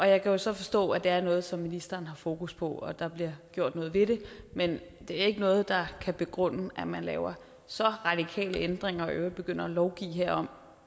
jeg kan så forstå at det er noget som ministeren har fokus på og at der bliver gjort noget ved det men det er ikke noget der kan begrunde at man laver så radikale ændringer og i øvrigt begynder at lovgive om